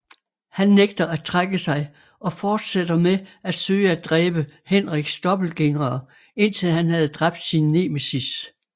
Han nægter at trække sig og fortsætter med at søge at dræbe Henriks dobbeltgængere indtil han havde dræbt sin nemesis